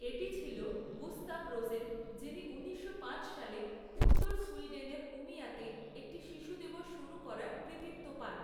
এটি ছিল Gustav Rosen যিনি ঊনিশশো পাঁচ সালে উত্তর সুইডেনের উমিয়াতে একটি শিশু দিবস শুরু করার কৃতিত্ব পান।